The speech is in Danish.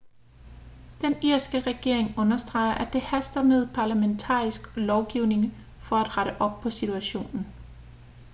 den irske regering understreger at det haster med parlamentarisk lovgivning for at rette op på situationen